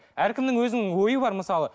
әркімнің өзінің ойы бар мысалы